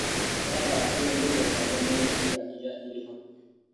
Mũtaratara ũyũ ndũthũkagia mũno ciĩga iria irĩ hakuhĩ.